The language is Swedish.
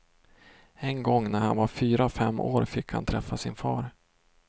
En gång när han var fyra fem år fick han träffa sin far.